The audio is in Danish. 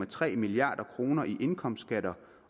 tre milliard kroner i indkomstskatter